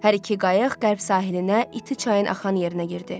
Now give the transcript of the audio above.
Hər iki qayıq qərb sahilinə, iti çayın axan yerinə girdi.